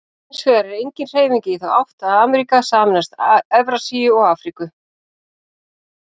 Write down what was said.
Hins vegar er engin hreyfing í þá átt að Ameríka sameinist Evrasíu og Afríku.